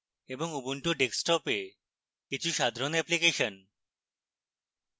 এবং ubuntu desktop এ কিছু সাধারণ অ্যাপ্লিকেশন